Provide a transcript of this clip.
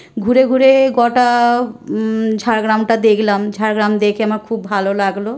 ঘুরে ঘুরে-এ গটা ঝাড়গ্রাম টা দেখলাম। ঝাড়গ্রাম দেখে আমার খুব ভালো লাগলো।